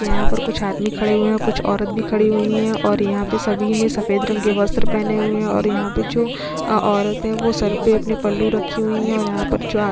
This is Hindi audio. यहाँ पर कुछ आदमी खड़े हुआ है और कुछ औरत भी खड़ी हुई है और यहाँ पे सभी ने सेफद रंग के वस्त्र पहने हुए है और यहाँ पे जो औरत है वो सर पे अपने पल्लू रखी हुई है और यहाँ पर जो आद --